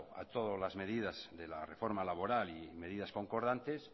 a todas las medidas de la reforma laboral y medidas concordantes